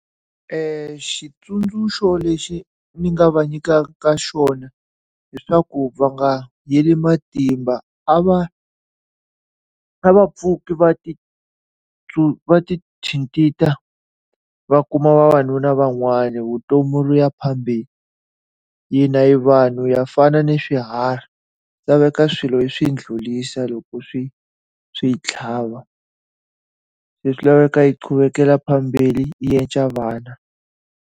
xitsundzuxo lexi ni nga va nyikaka xona hileswaku va nga heli matimba, a va a va pfuki va ti va ti thintha, va kuma vavanuna van'wani vutomi byi ya phambeni. Hina hi vanhu ha fana ni swiharhi, swi laveka swilo hi swi ndlulisa loko swi swi hi tlhava. Se swi laveka hi qhubekela phambili hi endla vana.